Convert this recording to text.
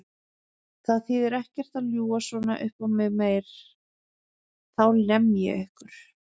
Það þýðir ekkert að ljúga svona uppá mig meira, þá lem ég ykkur!